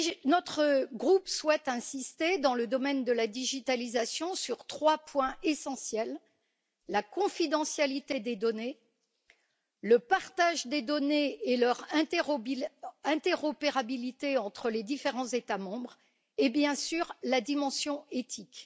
Notre groupe souhaite insister, dans le domaine de la digitalisation, sur trois points essentiels la confidentialité des données, le partage des données et leur interopérabilité entre les différents États membres et, bien sûr, la dimension éthique.